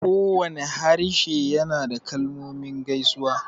Kowane harshe yana da kalmomin gaisuwa